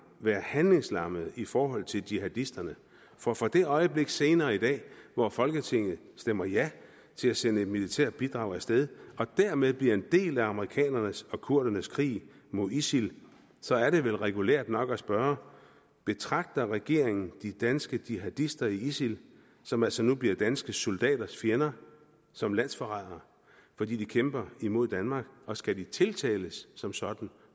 være handlingslammet i forhold til jihadisterne for fra det øjeblik senere i dag hvor folketinget stemmer ja til at sende et militært bidrag af sted og dermed bliver en del af amerikanernes og kurdernes krig mod isil så er det vel regulært nok at spørge betragter regeringen de danske jihadister i isil som altså nu bliver danske soldaters fjender som landsforrædere fordi de kæmper imod danmark og skal de tiltales som sådan